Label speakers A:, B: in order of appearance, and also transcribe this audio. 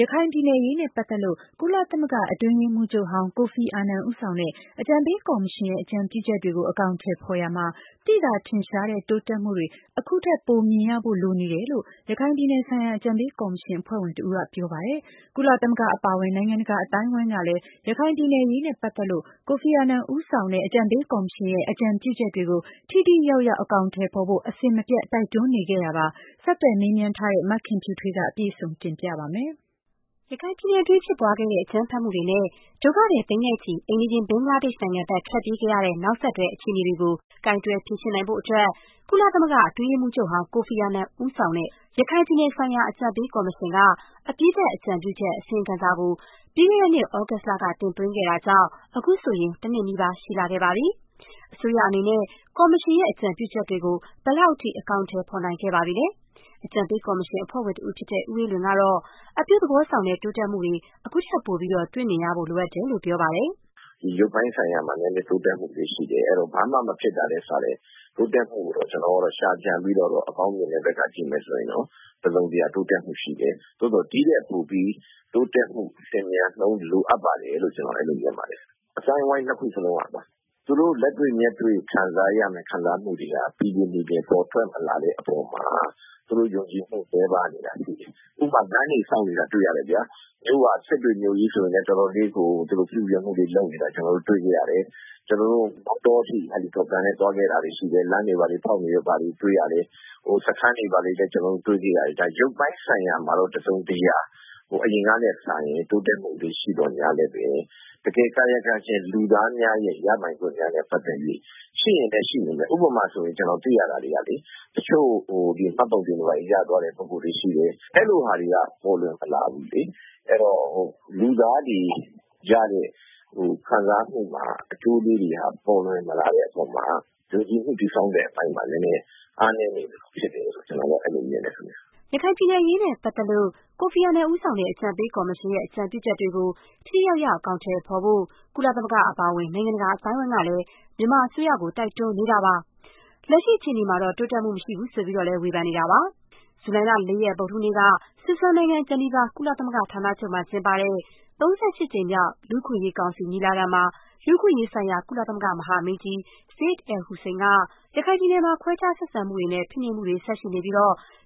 A: ရခိုင်ပြည်နယ်အရေးနဲ့ပတ်သက်လို့ ကုလသမဂ္ဂ အတွင်းရေးမှူးချုပ်ဟောင်း ကိုဖီအာနန် ဦးဆောင်တဲ့ အကြံပေးကော်မရှင်ရဲ့ အကြံပြုချက်တွေ အကောင်အထည် ဖော်ရာမှာ သိသာထင်ရှားတဲ့ တိုးတက်မှုတွေ အခုထက်ပို မြင်ရဖို့ လိုနေတယ်လို့ ရခိုင်ပြည်နယ်ဆိုင်ရာ အကြံပေး ကော်မရှင် အဖွဲ့ဝင်တဦးက ပြောပါတယ်။ ကုလသမဂ္ဂအပါအဝင် နိုင်ငံတကာ အသိုင်းအဝိုင်းကလည်း ရခိုင်ပြည်နယ်အရေးနဲ့ ပတ်သက်လို့ ကိုဖီအာနန် ဦးဆောင်တဲ့ အကြံပေးကော်မရှင်ရဲ့ အကြံပြုချက်တွေကို ထိထိရောက်ရောက် အကောင်အထည် ဖော်ဖို့ အစဉ်မပြတ် တိုက်တွန်းနေတာပါ။ ဆက်သွယ်မေးမြန်းထားတဲ့ မခင်ဖြူထွေးက အပြည့်စုံ တင်ပြပေးပါမယ်။ ရခိုင်ပြည်နယ်တွင်း ဖြစ်ပွားခဲ့တဲ့ အကြမ်းဖက်မှုတွေနဲ့ ဒုက္ခသည်သိန်းနဲ့ချီ အိမ်နီးချင်း ဘင
B: ်္ဂလားဒေ့ရှ် နိုင်ငံဘက် ထွက်ပြေးခဲ့ရတဲ့ နောက်ဆက်တွဲ အခြေအနေတွေကို ကိုင်တွယ်ဖြေရှင်းနိုင်ဖို့အတွက် ကုလသမဂ္ဂ အတွင်းရေးမှူးချုပ်ဟောင်း ကိုဖီအာနန်ဦးဆောင်တဲ့ ရခိုင်ပြည်နယ်ဆိုင်ရာ အကြံပေးကော်မရှင်က အပြီးသတ် အကြံပြုချက် အစီရင်ခံစာကို ပြီးခဲ့တဲ့နှစ် သြဂုတ်လက တင်သွင်းခဲ့တာကြောင့် အခုဆိုရင် တနှစ်နီးပါး ရှိလာခဲ့ပါပြီ။ အစိုးရအနေနဲ့ ကော်မရှင်ရဲ့ အကြံပြုချက်တွေကို ဘယ်လောက်အထိ အကောင်အထည် ဖော်နိုင်ခဲ့ပါပြီလဲ။ အကြံပေး ကော်မရှင် အဖွဲ့ဝင်တဦးဖြစ်တဲ့ ဦးအေးလွင်ကတော့ အပြုသဘောဆောင်တဲ့ တိုးတက်မှုတွေ ခုထက် ပိုပြီး တွေ့မြင်ရဖို့ လိုတယ်လို့ ပြောပါတယ်
C: ။ “ရုပ်ပိုင်းဆိုင်ရာမှာ နည်းနည်း တိုးတက်မှုတွေ ရှိတယ်။ အဲဒီတော့ ဘာမှမဖြစ်တာထက်စာရင် တိုးတက်မှုကိုတော့ ကျနော်က ရှာကြံပြီး အကောင်းမြင်တဲ့ဘက်က ကြည့်မယ်ဆိုရင်တော့ တစုံတရာ တိုးတက်မှုရှိတယ်။ သို့သော် ဒီ့ထက်ပိုပြီး တိုးတက်မှု လျင်မြန်နှုန်း လိုအပ်ပါတယ်လို့ ကျနော် အဲဒီလို မြင်ပါတယ်။ အသိုင်းအဝိုင်း နှစ်ခုစလုံးက သူတို့ လက်တွေ့မျက်တွေ့ ခံစားရမယ့် ခံစားမှုတွေက ပီပီပြင်ပြင် ပေါ်ထွက်မလာတဲ့အပေါ်မှာ သူတို့ယုံကြည်မှု နည်းပါးနေတာရှိတယ်။ ဥပမာ - လမ်းတွေဆောက်နေတာ တွေ့ရတယ်ဗျာ။ မြို့က စစ်တွေမြို့ကြီးဆိုရင်လည်း တော်တော်လေးကို သူတို့ ပြုပြင်မှုတွေ လုပ်နေတာ ကျနော်တို့ တွေ့ခဲ့ရတယ်။ ကျနော်တို့ မောင်တောအထိ ဟယ်လီကော်ပတာနဲ့ သွားခဲ့တာတွေ ရှိတယ်။ လမ်းတွေဘာတွေ ဖောက်နေတာတွေ့ရတယ်။ စခန်းတွေဘာတွေလည်း ကျနော်တို့ တွေ့ခဲ့ရတယ်။ ရုပ်ပိုင်းဆိုင်ရာမှာတော့ တစုံတရာ အရင်ကထက်စာရင် တိုးတက်မှုတွေ ရှိသော်ငြားလည်းပဲ တကယ် ကာယကံရှင် လူသားများနဲ့ ပတ်သက်၍တော့ ရှိရင်လည်း ရှိနေမယ်။ ဥပမာအားဖြင့် ကျနော် သိရတာတွေက တချို့ မှတ်ပုံတင်တွေ ဘာတွေ ရသွားတဲ့သူတွေ ရှိတယ်။ အဲ့လိုဟာတွေက ပေါ်လွင်မလာဘူးလေ။ အဲဒီတော့ လူသားတွေရတဲ့ ခံစားမှုမှာ အကျိုးလေးတွေက ပေါ်လွင်မလာတဲ့အပေါ်မှာ ယုံကြည်မှုတည်ဆောက်တဲ့အပိုင်းမှာ နည်းနည်း အားနည်းနေသလို ဖြစ်တယ်လို့ ကျနော်တော့ အဲဒီလို မြင်တယ်။”
B: ရခိုင်ပြည်နယ်အရေးနဲ့ ပတ်သက်လို့ ကိုဖီအာနန် ဦးဆောင်တဲ့ အကြံပေး ကော်မရှင်ရဲ့ အကြံပြုချက်တွေကို ထိထိရောက်ရောက် အကောင်အထည် ဖော်ဖို့ ကုလသမဂ္ဂ အပါအဝင် နိုင်ငံတကာ အသိုင်းအဝိုင်းကလည်း မြန်မာအစိုးရကို တိုက်တွန်းနေတာပါ။ လက်ရှိ အခြေအနေမှာတော့ တိုးတက်မှုမရှိဘူး ဆိုပြီးတော့လည်း ဝေဖန်နေတာပါ။ ဇူလိုင်လ ၄ ရက် ဗုဒ္ဓဟူးနေ့က ဆွစ်ဇာလန်နိုင်ငံ ဂျီနီဗာ ကုလသမဂ္ဂ ဌာနချုပ်မှာ ကျင်းပတဲ့ ၃၈ ကြိမ်မြောက် လူ့အခွင့်အရေးကောင်စီညီလာခံမှာ လူ့အခွင့်ရေးဆိုင်ရာ ကုလသမဂ္ဂ မဟာမင်းကြီး Zeid Al-Hussein က ရခိုင်ပြည်နယ်မှာ ခွဲခြားဆက်ဆံမှုတွေနဲ့ ဖိနှိပ်မှုတွေ ဆက်ရှိနေပြီး